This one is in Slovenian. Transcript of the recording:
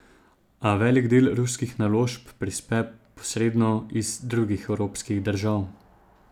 A velik del ruskih naložb prispe posredno iz drugih evropskih držav.